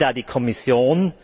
Was will da die Kommission?